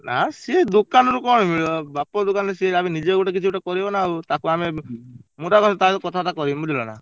ନା ସିଏ ଦୋକାନ ରୁ କଣ ମିଳିବ ବାପ ଦୋକାନରେ ସିଏ ଯାହା ବି ହେଲେ ନିଜେ ଗୋଟେ କିଛି ଗୋଟେ କରିବନା ଆଉ ତାକୁ ଆମେ ମୁ ତା ସହ କଥା ବାର୍ତା କରିବି ବୁଝିଲ ନା।